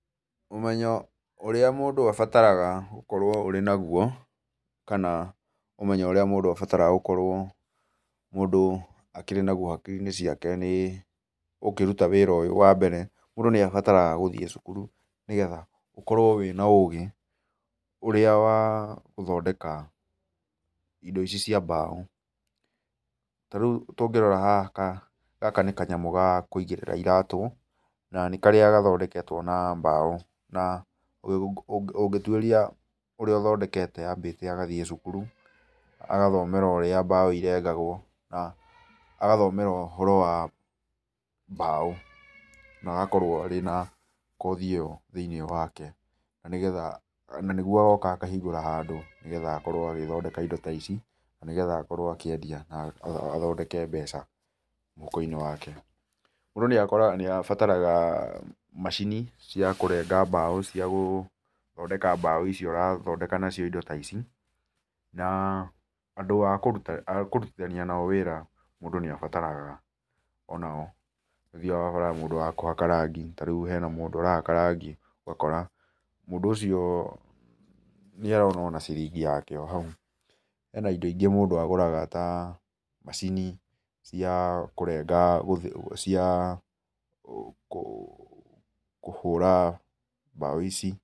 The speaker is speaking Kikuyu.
Ũmenyo ũrĩa mũndũ abataraga gũkorwo ũrĩ naguo kana ũmenyo ũrĩa mũndũ abataraga gũkorwo mũndũ akĩrĩ naguo hakiri-inĩ ciake nĩ ũkĩruta ũndũ ũyũ wa mbere mũndũ nĩ abataraga gũthiĩ cukuru, nĩgetha ũkorwo wĩna ũũgĩ ũrĩa wa gũthondeka indo ici cia mbaũ. Ta rĩu tũngĩrora haha, gaka nĩ kanyamũ ga kũigĩrĩra iratũ, na nĩ karĩa gathondeketwo na mbaũ, na ũngĩtuĩria ũrĩa ũthondekete ambĩte agathiĩ cukuru, agathomera ũrĩa mbaũ irengagwo na agathomera ũhoro wa mbaũ, na agakorwo arĩ na kothi ĩyo thĩ-inĩ wake na nĩguo agoka akahingũra handũ nĩgetha akorwo agĩthondeka indo ta ici, na nĩgetha akorwo akĩendia na athondeke mbeca mũhuko-inĩ wake. Mũndũ nĩ abataraga macini cia kũrenga mbaũ cia gũthondeka mbaũ icio ũrathondeka nacio indo ta ici na andũ a kũrutithania nao wĩra mũndũ nĩ abataraga o nao, nĩ ũthiaga ũgakora mũndũ wa kũhaka rangi, ta rĩu hena mũndũ ũrahaka rangi ũgakora, mũndũ ũcio nĩ arona ciringi yake o na hau, hena indo ingĩ mũndũ agũraga ta macini cia kũhũra mbaũ ici.